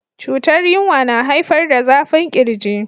cutar yinwa na haifar da zafin kirji.